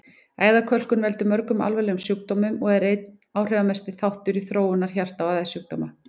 Æðakölkun veldur mörgum alvarlegum sjúkdómum og er einn áhrifamesti þáttur í þróun hjarta- og æðasjúkdóma.